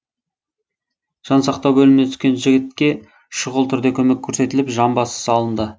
жансақтау бөліміне түскен жігітке шұғыл түрде көмек көрсетіліп жамбасы салынды